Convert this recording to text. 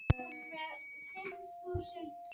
Hætturnar eru til staðar.